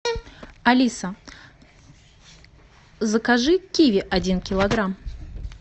алиса закажи киви один килограмм